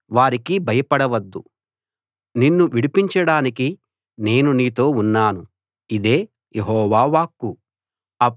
వారికి భయపడవద్దు నిన్ను విడిపించడానికి నేను నీతో ఉన్నాను ఇదే యెహోవా వాక్కు